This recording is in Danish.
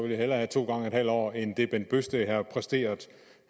jeg hellere have to gange en halv år end det herre bent bøgsted har præsteret